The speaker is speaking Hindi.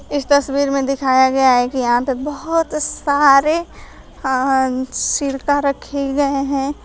इस तस्वीर में दिखाया गया है कि यहां पे बहोत सारे अ सिरका रखे गए हैं।